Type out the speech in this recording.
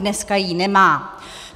Dneska ji nemá.